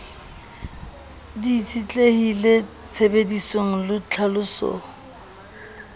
di itshetlehile tshebedisong le tlhalosong